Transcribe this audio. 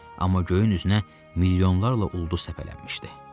Amma göyün üzünə milyonlarla ulduz səpələnmişdi.